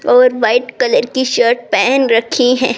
और white colour की shirt पहन रखी है।